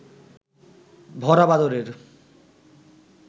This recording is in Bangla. ভরা বাদরের